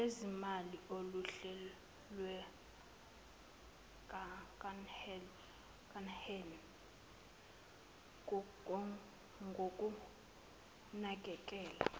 lwezimali oluhlelwekanhe ngokunakekela